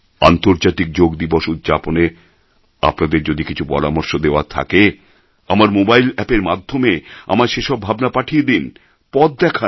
আন্তর্জাতিক যোগ দিবস উদ্ যাপনে আপনাদের যদি কিছু পরামর্শ দেওয়ার থাকে আমার মোবাইল অ্যাপ এর মাধ্যমে আমায় সে সব ভাবনা পাঠিয়ে দিন পথ দেখান